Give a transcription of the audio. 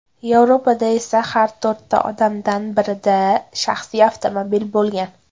Yevropada esa har to‘rtta odamdan birida shaxsiy avtomobil bo‘lgan.